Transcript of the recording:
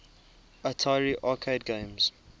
atari arcade games